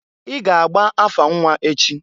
I ga-agba afa nnwa echi!